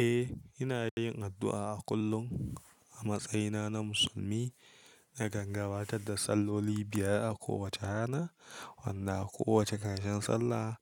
Eh, ina yin addu'a a kullum a matsayina na musulmi. Nakan gabatar da salloli biyar a kowace rana, wanda a kowace karshen sallah